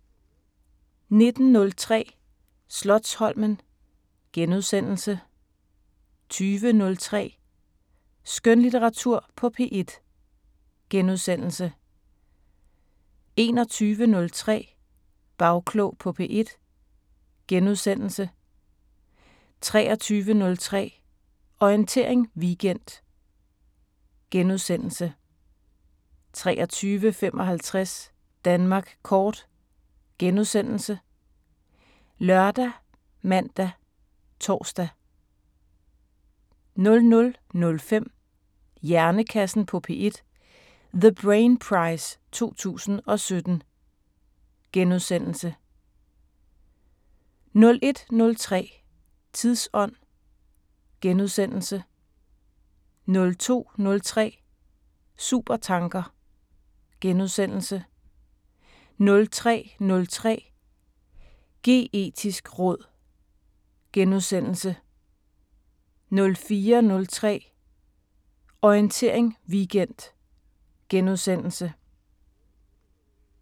19:03: Slotsholmen * 20:03: Skønlitteratur på P1 * 21:03: Bagklog på P1 * 23:03: Orientering Weekend * 23:55: Danmark Kort *( lør, man, tor) 00:05: Hjernekassen på P1: The Brain Prize 2017 * 01:03: Tidsånd * 02:03: Supertanker * 03:03: Geetisk råd * 04:03: Orientering Weekend *